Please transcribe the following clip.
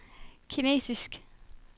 kinesisk